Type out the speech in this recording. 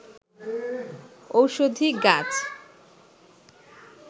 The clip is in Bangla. ওষধি গাছ